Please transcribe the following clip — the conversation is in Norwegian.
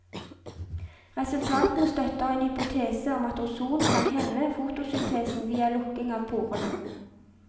Resultatene støtter en hypotese om at ozon kan hemme fotosyntesen via lukking av porene.